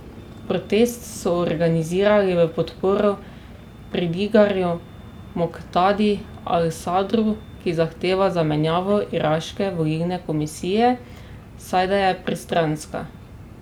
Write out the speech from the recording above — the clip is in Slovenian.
Protest so organizirali v podporo šiitskemu pridigarju Moktadi Al Sadru, ki zahteva zamenjavo iraške volilne komisije, saj da je pristranska.